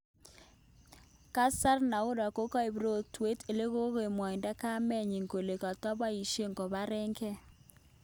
Kasari Naura kokoip rotwet elekomwaindo kamenyin kole kotapaishen koparen gee